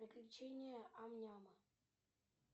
приключения ам няма